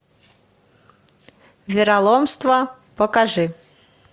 вероломство покажи